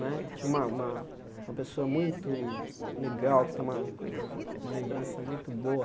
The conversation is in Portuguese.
Né tinha uma uma uma pessoa muito legal, que tem uma uma uma lembrança muito boa.